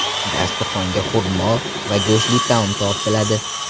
Dasturxonga xurmo va go‘shtli taom tortiladi.